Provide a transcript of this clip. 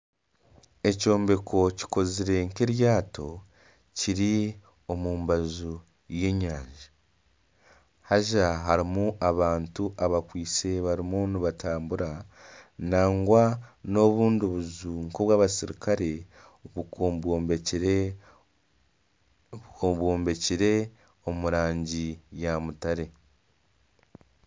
Ekyombeko kikozire nk'eryato kiri omu mbaju y'enyanja haza harimu abantu abakwitse barimu nibatambura nangwa n'obundi buju nka obwabasirikare bwombekire omu rangi ya mutare.